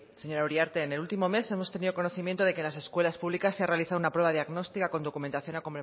señora uriarte en el último mes hemos tenido conocimiento de que en las escuelas públicas se ha realizado una prueba diagnóstica con documentación